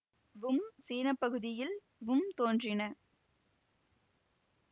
வும் சீனப்பகுதியில் வும் தோன்றின